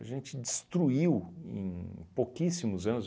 A gente destruiu em pouquíssimos anos.